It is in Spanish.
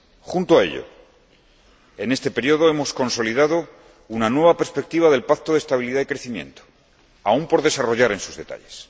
Junto a ello, en este período hemos consolidado una nueva perspectiva del Pacto de Estabilidad y Crecimiento, aún por desarrollar en sus detalles.